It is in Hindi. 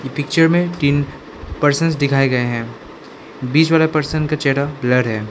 पिक्चर में तीन परसन दिखाए गए हैं बीच वाला परसन का चेहरा ब्लर है।